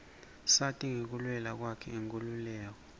sati ngekulwela kwakhe inkhululeko